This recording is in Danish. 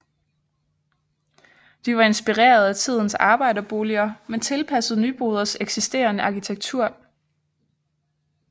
De var inspireret af tidens arbejderboliger men tilpasset Nyboders eksisterende arkitektur